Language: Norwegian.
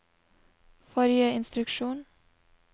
forrige instruksjon